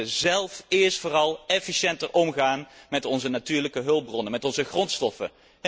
We moeten zelf eerst vooral efficiënter omgaan met onze natuurlijke hulpbronnen, met onze grondstoffen.